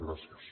gràcies